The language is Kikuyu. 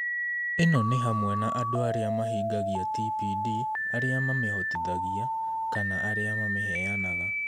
Ĩno nĩ hamwe na andũ arĩa mahingagia TPD, arĩa mamĩhotithagia, kana arĩa mamĩheanaga